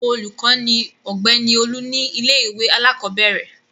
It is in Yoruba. Olùkọ́ ni Ọ̀gbẹ́ni Olú ní ilé-ìwé alákọ̀ọ́bẹ̀rẹ̀.